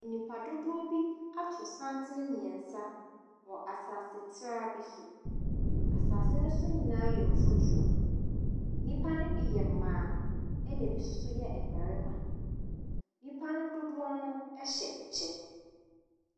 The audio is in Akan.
Nnipa dodoɔ bi ato santene mmiɛnsa wɔ asaase traa bi so, asaase ne so nyinaa yɛ mfuturo , nnipa ne bi yɛ mmaa, na bi nso yɛ mmarima. Nnipa no dodoɔ no hyɛ kyɛ.